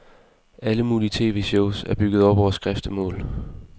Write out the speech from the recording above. Alle mulige tv-shows er bygget op over skriftemål.